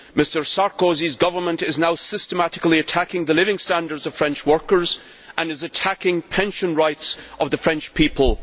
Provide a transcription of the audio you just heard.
Mr Sarkozy's government is now systematically attacking the living standards of French workers and is attacking the pension rights of the French people.